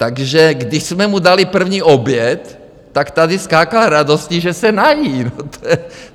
Takže když jsme mu dali první oběd, tak tady skákal radostí, že se nají.